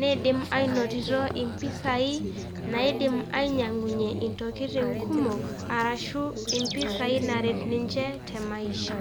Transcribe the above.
neidim aanotioto impisai nainyiang'unye intokitin kumok, arashu impisai naaret ninche te maisha.